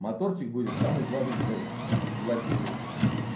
моторчик будет самый главный блядь владелец